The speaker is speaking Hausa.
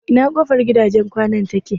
Ina kofar gidajen kwanan take?